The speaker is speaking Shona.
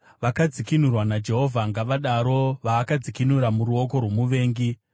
Vakadzikinurwa naJehovha ngavadaro, vaakadzikinura muruoko rwomuvengi,